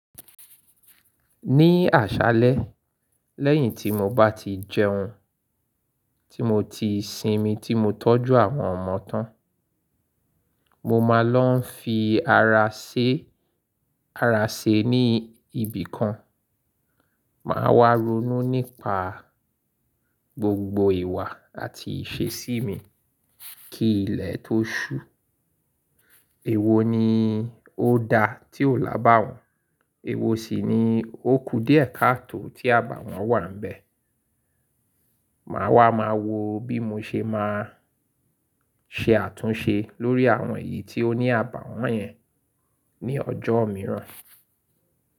Ní àṣálẹ́ lẹ́yìn tí mo bá ti jẹun, tí mo ti sinmi tí mo tọ́jú àwọn ọmọ tán, mo máa lọ́ ń fi ara ṣe ara ṣe ní ibìkan, màá wá ronú nípa gbogbo ìwà àti ìṣesí mi kí ilẹ̀ tó ṣú. Èwo ni ó da tí ò lábàwọ́n, èwo sì ni ó ku díẹ̀ káàtò tí àbàwọ́n wà níbẹ̀. Màá wá máa wo bí mo ṣe máa ṣe àtúnṣe lórí àwọn èyí tí ó ní àbàwọ́n yẹn ní ọjọ́ mìíràn.